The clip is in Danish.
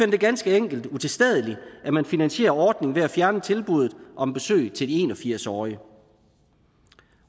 det ganske enkelt utilstedeligt at man finansierer ordningen ved at fjerne tilbuddet om besøg til de en og firs årige